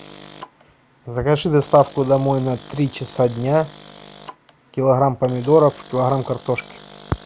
закажи доставку домой на три часа дня килограмм помидоров килограмм картошки